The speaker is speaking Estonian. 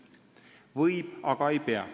Võib, aga ei pea.